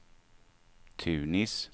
Tunis